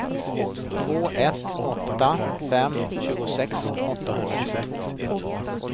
två ett åtta fem tjugosex åttahundratjugotvå